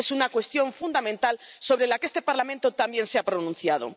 Es una cuestión fundamental sobre la que este Parlamento también se ha pronunciado.